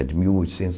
É de mil oitocentos e